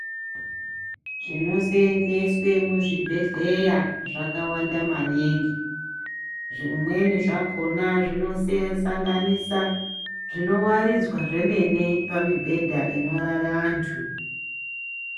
Zvinoseenzeswe muzvibhehleya zvakawanda maningi, zvimweni zvakhona zvinosanganisa zvinowaridzwa zvemene pamibhedha inorara antu.